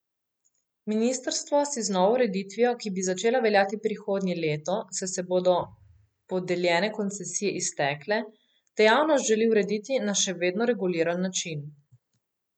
Ministrstvo si z novo ureditvijo, ki bi začela veljati prihodnje leto, saj se bodo podeljene koncesije iztekle, dejavnost želi urediti na še vedno reguliran način.